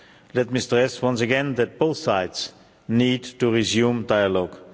Let me stress once again that both sides need to resume dialogue.